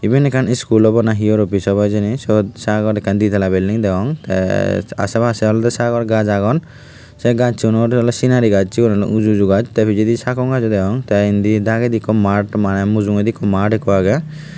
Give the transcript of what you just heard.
ebane ekan iskull obow na he ore office obow he jani swot sagor die tala bilding dagong taye asaye pasaye sagor gush aagon saye gasunot sanari gush segun olaye uju uju gush tay pijadi sakone gush ow dagong tay indi dagendi eko mat manay mujugadi mat eko aagey.